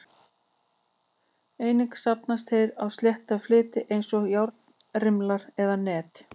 Einnig safnast þeir á slétta fleti eins og járnrimla eða net.